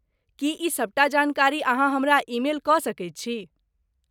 की ई सबटा जानकारी अहाँ हमरा ईमेल कऽ सकैत छी?